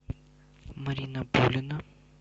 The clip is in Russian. марина пулина